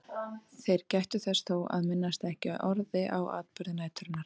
Þeir gættu þess þó að minnast ekki orði á atburði næturinnar.